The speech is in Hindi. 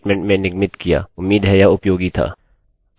अब मैं इस ट्यूटोरिटल को समाप्त करती हूँ